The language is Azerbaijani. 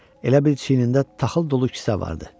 Elə bil çiynində taxıl dolu kisə vardı.